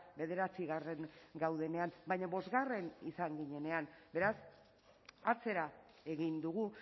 bederatzigarren gaudenean baina bosgarren izan ginenean beraz atzera egin dugu